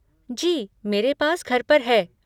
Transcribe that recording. जी, मेरे पास घर पर है।